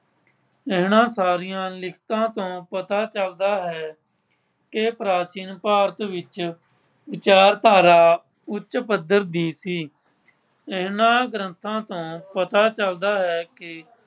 ਇਹਨਾਂ ਸਾਰੀਆਂ ਲਿਖਤਾਂ ਤੋਂ ਪਤਾ ਚੱਲਦਾ ਹੈ ਕਿ ਪ੍ਰਾਚੀਨ ਭਾਰਤ ਵਿੱਚ ਵਿਚਾਰਧਾਰਾ ਉੱਚ ਪੱਧਰ ਦੀ ਸੀ। ਇਹਨਾਂ ਗ੍ਰੰਥਾਂ ਤੋਂ ਪਤਾ ਚੱਲਦਾ ਹੈ ਕਿ